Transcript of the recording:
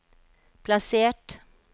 plassert